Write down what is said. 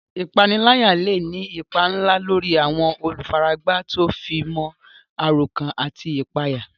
Ìpániláyà lè ní ipa ńlá lórí àwọn olùfaragbá tó fi mọ́ àròkán àti ìpayà.